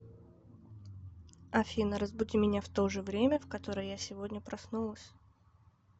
афина разбуди меня в то же время в которое я сегодня проснулась